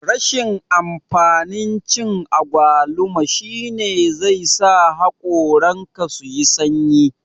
Rashin amfanin cin agwaluma shine zai sa hakoran ka suyi sanyi